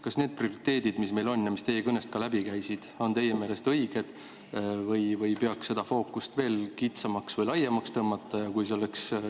Kas need prioriteedid, mis meil on ja mis teie kõnest ka läbi käisid, on teie meelest õiged või peaks seda fookust veel kitsamaks või laiemaks tõmbama?